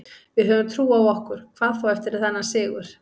Við höfum trú á okkur, hvað þá eftir þennan sigur.